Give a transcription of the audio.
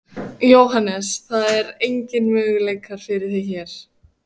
Jóhannes: Það eru engir möguleikar fyrir þig hér?